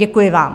Děkuji vám.